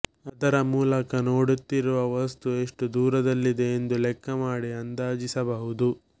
ಅದರ ಮೂಲಕ ನೋಡುತ್ತಿರುವ ವಸ್ತು ಎಷ್ಟು ದೂರದಲ್ಲಿದೆ ಎಂದು ಲೆಕ್ಕ ಮಾಡಿ ಅಂದಾಜಿಸಬಹುದು